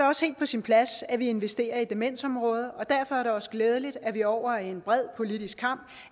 også helt på sin plads at vi investerer i demensområdet og derfor er det også glædeligt at vi over en bred politisk